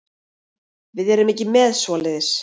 Við erum ekki með svoleiðis.